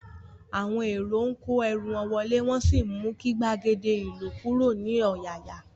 Àwọn èrò ń kó ẹrú wọn wọlé, wọn sì mú kí gbàgede ilokuro ní ọ̀yàyà